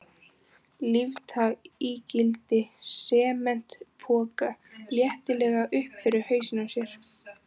Lyfta ígildi sementspoka léttilega upp fyrir hausinn á sér.